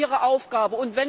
Das ist ihre Aufgabe.